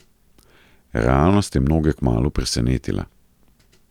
Realnost je mnoge kmalu presenetila.